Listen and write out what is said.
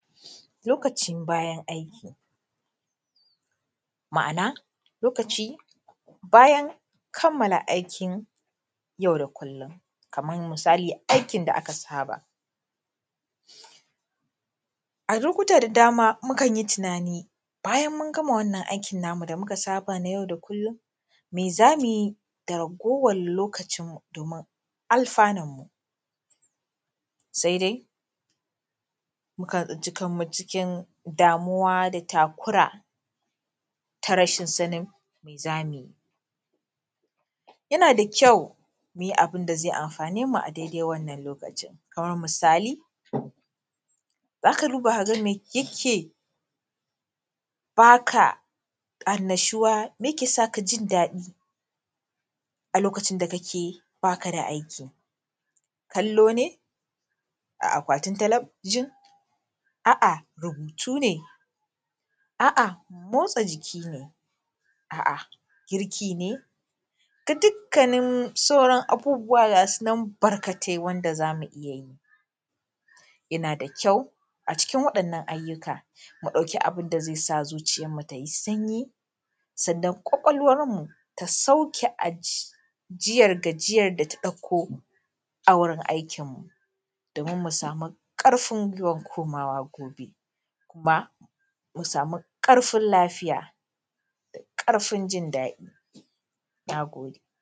Lokacin bayan aiki, ma’ana lokaci bayan kammala aikin yau da kullum, kamar misali aikin da aka saba.A lokuta da dama mukan yi tunani, bayan mun gama wannan aikin namu da muka saba na yau kullum, me zamu yi da ragowar lokacimu domin alfanarmu? Sai dai mukan tsinci kanmu cikin damuwa da takura, ta rashin sanin me zamu yi? Yana da kyau muyi abin da zai amfanemu a daidai wannan lokacin, kamar misali zaka duba kaga me yake baka annashuwa? Me yake saka jin daɗi a lokacin da kake baka da aiki? Kallo ne a akwatin talabijin? A’a rubutu ne? A’a motsa jiki ne? A’a jiki ne? Da dukkanin sauran abubuwa gasu nan barkatai wanda zamu iya yi. Yana da kyau a cikin waɗannan ayyuka mu ɗauki abin da zai sa zuciyarmu tai sanyi, sannan ƙwaƙwalwarmu ta sauke ajiyar gajiyar data ɗauko a wurin aikinmu, domin mu samu ƙarfin gwiwan komawa gobe, kuma mu samu ƙarfin lafiya, da ƙarfin jin daɗi. Na gode.s